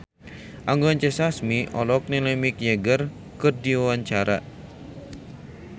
Anggun C. Sasmi olohok ningali Mick Jagger keur diwawancara